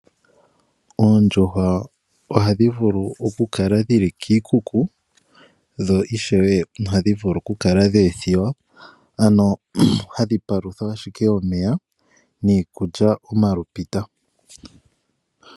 Oondjuhwa ohadhi vulu okukala dhili kiikuku dho ishewe ohadhi vulu dhi kale dhe ethiwa ano hadhi paluthwa ashike omeya nikulya omalupita